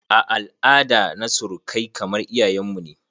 A al'ada na surukai kamar iyayen mu ne.